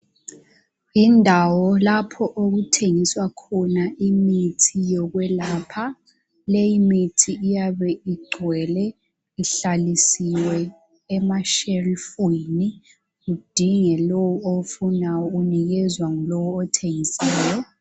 Indawo lapho okuthengiswa khona imithi yokwelapha. Leyi mithi iyabe igcwele ihlalisiwe emashelufini idinge lo ofuna ukuyinikezwa ngulowo othengisayo